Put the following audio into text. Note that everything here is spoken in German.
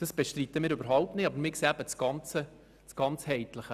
Aber wir sehen eben das Ganzheitliche.